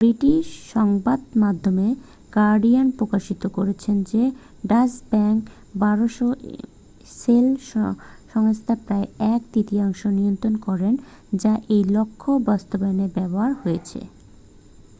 British সংবাদমাধ্যম Guardian প্রকাশিত করেছে যে ডাচ ব্যাঙ্ক 1200 শেল সংস্থার প্রায় এক তৃতীয়াংশ নিয়ন্ত্রণ করে যা এই লক্ষ্য বাস্তবায়নে ব্যবহার হয়েছে